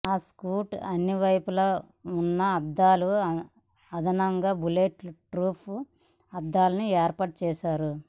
ఆ సూట్కు అన్నివైపులా ఉన్న అద్దాలకు అదనంగా బుల్లెట్ ప్రూఫ్ అద్దాలను ఏర్పాటు చేశారు